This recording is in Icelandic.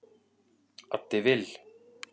Addi Vill